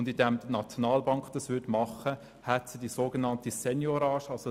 Dadurch, dass die Nationalbank dies tun würde, hätte sie die sogenannte Seigniorage.